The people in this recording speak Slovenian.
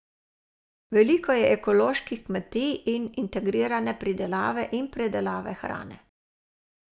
Veliko je ekoloških kmetij in integrirane pridelave in predelave hrane.